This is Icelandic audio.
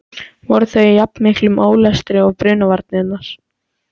Voru þau í jafn miklum ólestri og brunavarnirnar?